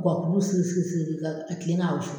Wa k'ulu sigi sigi ka ka kilen ka wusu.